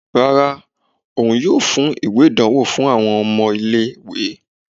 Rárá, òun yóò fún ìwé ìdánwò fún àwọn ọmọ ilé-ìwé.